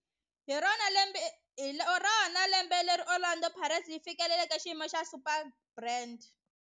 Hi rona lembe leri Orlando Pirates yi fikeleleke xiyimo xa Superbrand.